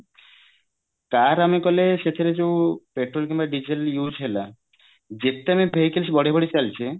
car ଆମେ କଲେ ସେଥିରେ ଯୋଉ ପେଟ୍ରୋଲ କିମ୍ବା ଡିଜେଲ use ହେଲା ଯେତେ ଆମେ vehicles ବଢେଇ ବଢେଇ ଚାଲିଛେ